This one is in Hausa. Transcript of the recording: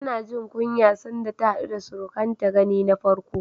Tana jin kunya sanda ta haɗu da surukanta gani na farko.